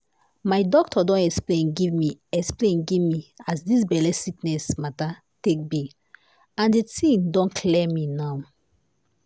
my doctor don explain give me explain give me as dis belle sickness mata take be and di tin don clear me now.